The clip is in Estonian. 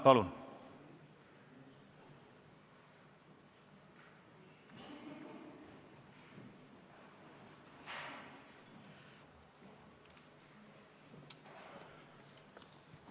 Palun!